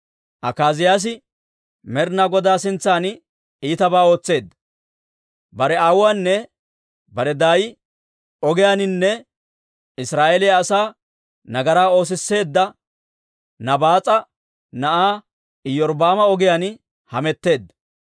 Akaaziyaasi Med'inaa Godaa sintsan iitabaa ootseedda; bare aawuwaanne bare daay ogiyaaninne Israa'eeliyaa asaa nagaraa oosisseedda Nabaas'a na'aa Iyorbbaama ogiyaan hametteedda.